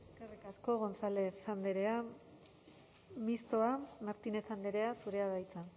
eskerrik asko gonzález andrea mistoa martínez andrea zurea da hitza